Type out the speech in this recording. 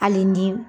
Hali ni